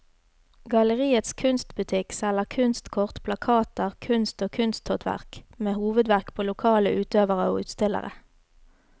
Galleriets kunstbutikk selger kunstkort, plakater, kunst og kunsthåndverk med hovedvekt på lokale utøvere og utstillere.